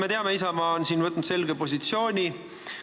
Me teame, et Isamaa on siin võtnud selge positsiooni.